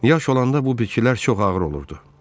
Yaş olanda bu bitkilər çox ağır olurdu.